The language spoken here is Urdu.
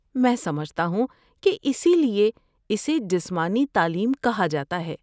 میں سمجھتا ہوں کہ اسی لیے اسے جسمانی تعلیم کہا جاتا ہے۔